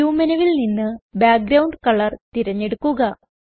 view മെനുവിൽ നിന്ന് background colour തിരഞ്ഞെടുക്കുക